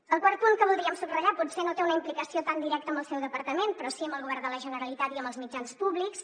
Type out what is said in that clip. el quart punt que voldríem subratllar potser no té una implicació tan directa amb el seu departament però sí amb el govern de la generalitat i amb els mitjans públics